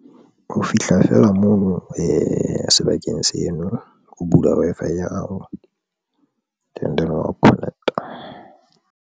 Ho fihla fela mono sebakeng seno, o bula Wi-Fi ya hao and then wa Connect-a.